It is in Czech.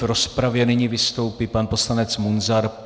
V rozpravě nyní vystoupí pan poslanec Munzar.